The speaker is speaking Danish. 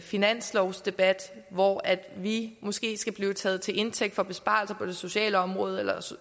finanslovsdebat hvor vi måske skal blive taget til indtægt for besparelser på det sociale område eller